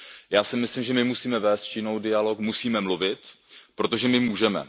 Já si myslím, že my musíme vest s Čínou dialog, musíme mluvit, protože my můžeme.